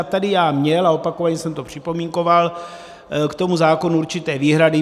A tady jsem měl, a opakovaně jsem to připomínkoval, k tomu zákonu určité výhrady.